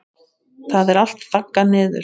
Það er allt þaggað niður.